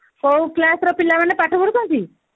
କୋଉ class ରେ ପିଲାମାନେ ପାଠ ପଢୁଛନ୍ତି